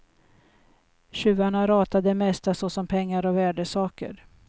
Tjuvarna ratade det mesta såsom pengar och värdesaker.